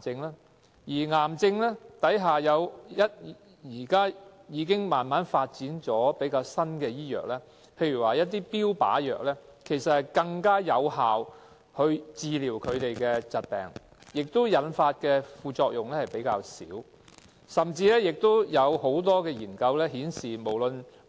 就着癌症，醫學界現時已發展出一些比較新的藥物，例如標靶藥，可以更有效地治療疾病，副作用也比較少，甚至有很多